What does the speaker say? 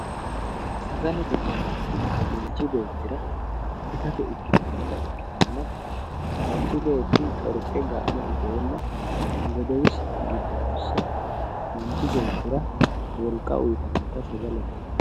sagallete yinaniti manchi betira itate ikitanna manchi betti coriqe game itenna godowissi giddo hose manchi betira wolqa uyitanotta sagalete yinanni